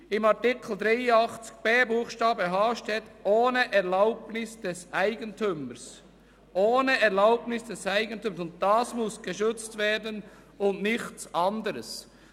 In Artikel 83 Absatz 1 Buchstabe h steht «ohne Erlaubnis des Eigentümers» – und das muss geschützt werden und nichts anderes.